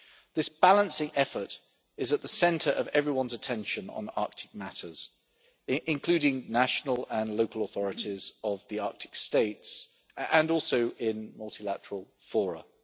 This balancing effort is at the centre of everyone's attention on Arctic matters, including national and local authorities of the Arctic States and also in multilateral fora.